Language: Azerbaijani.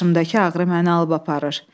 Başımdakı ağrı məni alıb aparır.